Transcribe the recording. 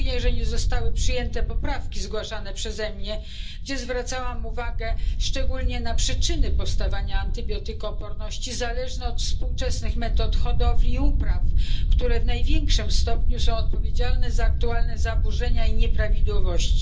Żałuję, że nie zostały przyjęte zgłaszane przeze mnie poprawki, w których zwracałam szczególną uwagę na przyczyny powstawania antybiotykooporności, zależne od współczesnych metod hodowli i upraw, które w największym stopniu są odpowiedzialne za aktualne zaburzenia i nieprawidłowości.